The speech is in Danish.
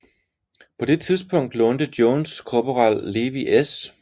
På det tidspunkt lånte Jones korporal Levi S